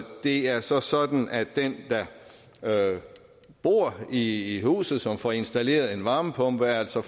det er så sådan at den der bor i huset og som får installeret en varmepumpe altså